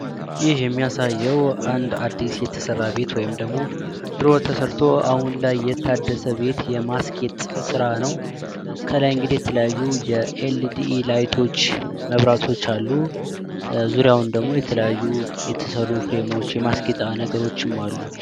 ይህ የሚያሳየው አንድ አዲስ የተሰራ ቤት ወይም ደሞ ድሮ ተሰርቶ አሁን ላይ የታደሰ ቤት የማስጌጥ ስራ ነው። ከላይ እንግዲህ የተለያዩ የኤልዲ ላይቶች መብራቶች አሉ። ዙሪያውን ደግሞ የተለያዩ የተሰሩ ፍሬሞች የማስጌጫ ነገሮችም አሉ።